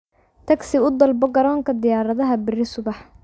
Taksi u dalbato garoonka diyaaradaha berri subax